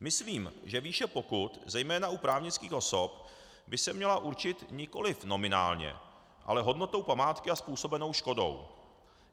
Myslím, že výše pokut zejména u právnických osob by se měla určit nikoliv nominálně, ale hodnotou památky a způsobenou škodou.